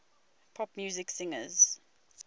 pop music singers